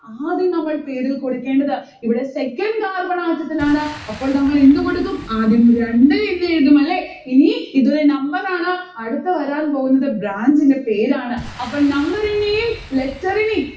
ആദ്യം നമ്മൾ പേരിൽ കൊടുക്കേണ്ടത്. ഇവിടെ second carbon atom ത്തിലാണ് അപ്പോൾ നമ്മൾ എന്ത് കൊടുക്കും ആദ്യം രണ്ട് എന്നെഴുതും അല്ലെ? ഇനി ഇത് ഒരു number ആണ് അടുത്ത വരാൻ പോകുന്നത് branch ന്റെ പേരാണ്. അപ്പോൾ number ഇനെയും letter ഇനേയും